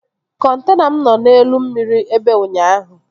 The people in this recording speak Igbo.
Kọntena m nọ n'elu mmiri ebe ụnyaahụ